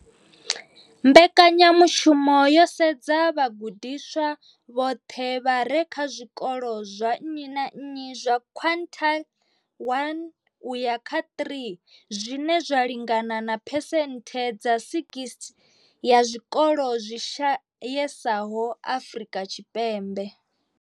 Mbekanyamushumo yo sedza vhagudiswa vhoṱhe vha re kha zwikolo zwa nnyi na nnyi zwa quintile 1 uya kha 3, zwine zwa lingana na phesenthe dza 60 ya zwikolo zwi shayesaho Afrika Tshipembe.